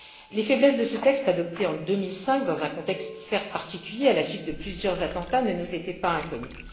Les faiblesses de ce texte adopté en 2005 dans un contexte certes particulier à la suite de plusieurs attentats ne nous étaient pas inconnues.